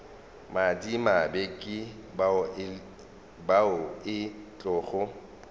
madimabe ke bao e tlogo